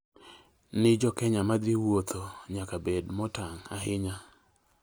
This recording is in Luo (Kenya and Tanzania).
ni jo Kenya ma dhi wuotho ​​nyaka bed motang' ahinya